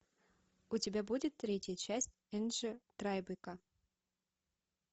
у тебя будет третья часть энджи трайбека